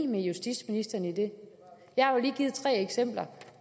med justitsministeren i det jeg har jo lige givet tre eksempler